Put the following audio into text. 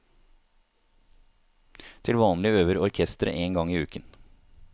Til vanlig øver orkesteret én gang i uken.